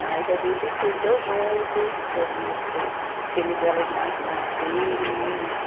Mas a gente cresceu junto, eu vi os o os filhos delas na nascerem, né? E